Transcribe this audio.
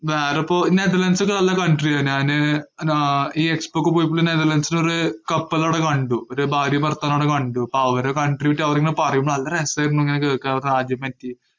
വേറിപ്പോ ഈ നെതർലൻഡ്‌സ്‌ ഒക്കെ നല്ല country യാ. നാന് ആഹ് ഈ Expo ക്ക് പോയപ്പോള് നെതർലൻഡ്‌സിലെ ഒരു couple നെ അവിടെ കണ്ടു. ഒരു ഭാര്യയേം ഭർത്താവിനെം കണ്ടു. അപ്പോ അവര് country യെപറ്റി അവരിങ്ങനെ പറയുമ്പോ നല്ല രസായിരുന്നു ഇങ്ങനെ കേൾക്കാ ആ നാടിനെ പറ്റി